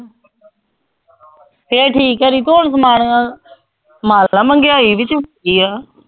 ਫਿਰ ਠੀਕ ਹੈ ਰਿਤੂ ਹੁਣ ਸਮਾਨ ਮਹਿੰਗਾਈ ਵਿੱਚ